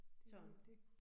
Sådan